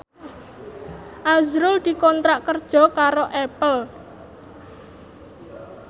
azrul dikontrak kerja karo Apple